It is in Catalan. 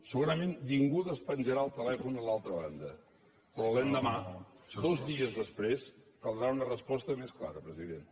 segurament ningú despenjarà el telèfon a l’altra banda però l’endemà dos dies després caldrà una resposta més clara president